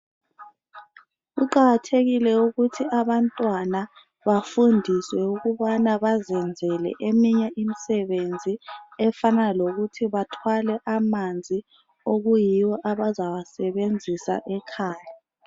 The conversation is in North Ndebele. kuqakathekile ukuthi abantwana bafundiswe ukubana bazenzele eminye imisebenzi efana lokuthi bathwale amanzi okuyiwo abazawasebenzisa ekhaya